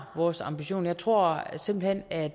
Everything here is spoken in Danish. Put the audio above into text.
vores ambition jeg tror simpelt hen at